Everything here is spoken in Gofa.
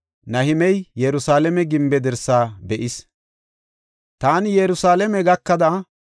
Taani Yerusalaame gakada heedzu gallas yan gam7as.